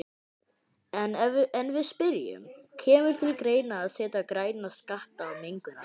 En við spyrjum, kemur til greina að setja græna skatta á mengunarvalda?